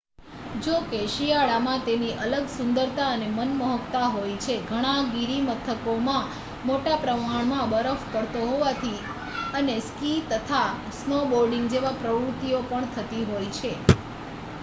જો કે શિયાળા માં તેની અલગ સુંદરતા અને માનમોહક્તા હોય છે ઘણા ગિરીમથકોમાં મોટા પ્રમાણ માં બરફ પડતો હોવાથી અને સ્કી તથા સ્નોબોર્ડિંગ જેવી પ્રવૃતિઓ પણ થતી હોય છે